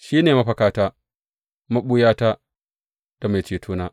Shi ne mafakata, maɓuyata, da mai cetona.